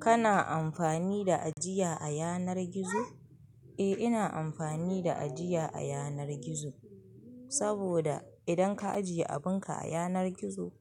Kana amfani da ajiya a yanar gizo? Eh, ina amfani da ajiya a yanar gizo. Saboda idan ka ajiye abin ka a yanar gizo,